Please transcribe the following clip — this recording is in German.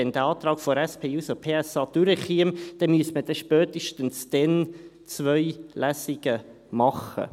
Wenn der Antrag der SP-JUSO-PSA-Fraktion durchkäme, müsste man spätestens dann zwei Lesungen machen.